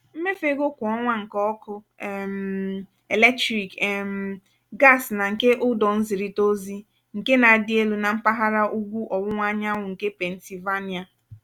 mmefu ego kwà ọnwa nke ọkụ um eletrik um gas na nke ụdọ nzirita ozi nke na-adị elu na mpaghara ugwu ọwụwa anyanwụ nke pennsylvania.